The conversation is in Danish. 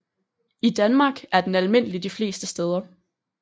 I Danmark er den almindelig de fleste steder